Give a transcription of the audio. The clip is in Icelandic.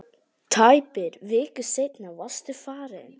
Tæpri viku seinna varstu farinn.